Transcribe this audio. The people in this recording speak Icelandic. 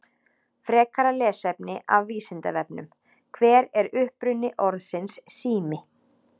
Frekara lesefni af Vísindavefnum: Hver er uppruni orðsins sími?